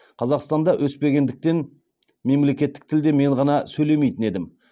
қазақстанда өспегендіктен мемлекеттік тілде мен ғана сөйлемейтін едім